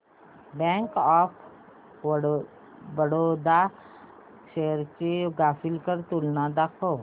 bank of Baroda shares ची graphical तुलना दाखव